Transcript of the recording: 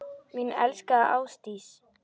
Mín elskaða Ásdís.